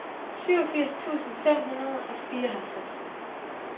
syvogfirs tusind fem hundrede og fireoghalvtreds